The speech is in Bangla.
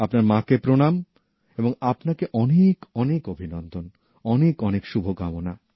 আপনার মা কে প্রণাম এবং আপনাকে অনেকঅনেক অভিনন্দন অনেকঅনেক শুভকামনা